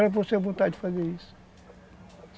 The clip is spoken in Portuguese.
vontade de fazer isso.